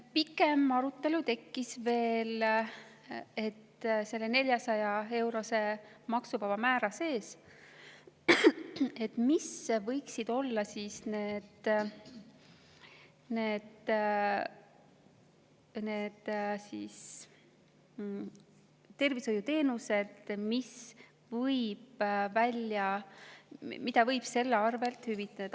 Pikem arutelu tekkis veel selle üle, mis võiksid olla need tervishoiuteenused, mida võib 400-eurose maksuvaba määra sees hüvitada.